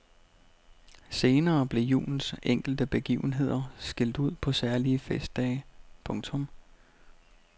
Senere blev julens enkelte begivenheder skilt ud på særlige festdage. punktum